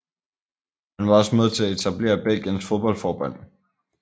Han var også med til at etablere Belgiens fodboldforbund